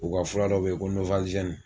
O ka fura dɔ be yen ko nowalizɛni